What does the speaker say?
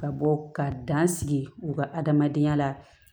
Ka bɔ ka dan sigi u ka adamadenya la